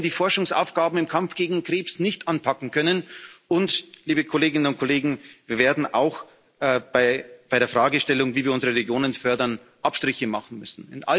Wir werden die Forschungsaufgaben im Kampf gegen Krebs nicht anpacken können und, liebe Kolleginnen und Kollegen, wir werden auch bei der Fragestellung, wie wir unsere Regionen fördern, Abstriche machen müssen.